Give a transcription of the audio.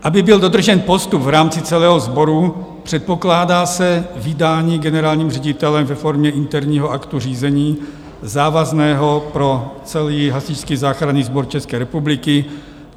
Aby byl dodržen postup v rámci celého sboru, předpokládá se vydání generálním ředitelem ve formě interního aktu řízení závazného pro celý Hasičský záchranný sbor České republiky.